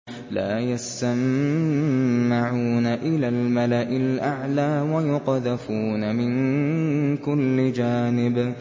لَّا يَسَّمَّعُونَ إِلَى الْمَلَإِ الْأَعْلَىٰ وَيُقْذَفُونَ مِن كُلِّ جَانِبٍ